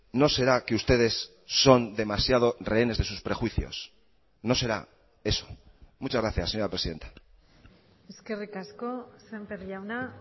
no será que ustedes son demasiado rehenes de sus prejuicios no será eso muchas gracias señora presidenta eskerrik asko semper jauna